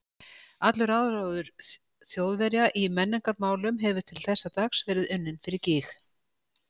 Allur áróður Þjóðverja í menningarmálum hefur til þessa dags verið unninn fyrir gýg.